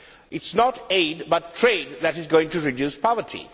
It is not aid but trade that is going to reduce poverty.